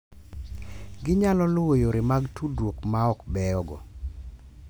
Ginyalo luwo yore mag tudruok ma ok beyogo.